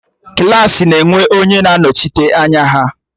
Klassị na enwe onye na-anọchite anya ha